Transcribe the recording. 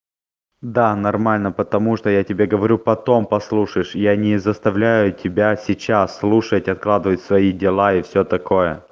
да нормально потому что я тебе говорю потом послушаешь я не заставляю тебя сейчас слушать откладывать свои дела и всё такое